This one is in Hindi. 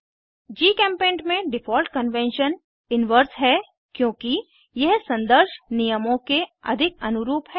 जीचेम्पेंट में डिफ़ॉल्ट कन्वेंशन इनवर्स है क्योंकि यह संदर्श नियमों के अधिक अनुरूप है